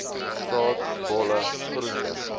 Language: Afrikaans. saad bolle groente